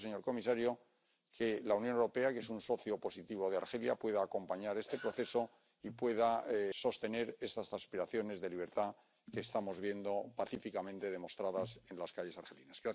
Espero, señor comisario, que la Unión Europea, que es un socio positivo de Argelia, pueda acompañar este proceso y pueda sostener esas aspiraciones de libertad que estamos viendo pacíficamente demostradas en las calles argelinas.